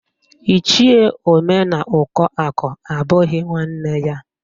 Ichie Omenaụkọakụ abụghị nwanne ya